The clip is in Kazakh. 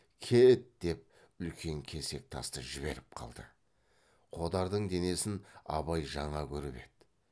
кет деп үлкен кесек тасты жіберіп қалды қодардың денесін абай жаңа көріп еді